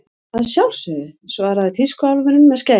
Að sjálfsögðu, svaraði tískuálfurinn með skærin.